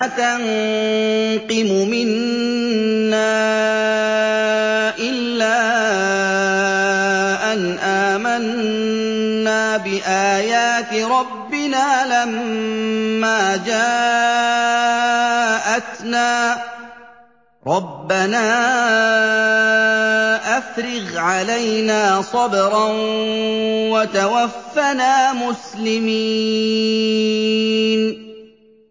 وَمَا تَنقِمُ مِنَّا إِلَّا أَنْ آمَنَّا بِآيَاتِ رَبِّنَا لَمَّا جَاءَتْنَا ۚ رَبَّنَا أَفْرِغْ عَلَيْنَا صَبْرًا وَتَوَفَّنَا مُسْلِمِينَ